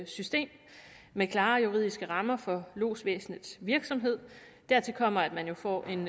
system med klare juridiske rammer for lodsvæsenets virksomhed dertil kommer at man jo får en